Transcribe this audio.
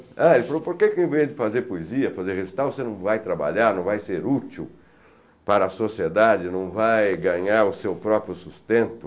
Aí ele falou, por que que ao invés de fazer poesia, fazer recital, você não vai trabalhar, não vai ser útil para a sociedade, não vai ganhar o seu próprio sustento?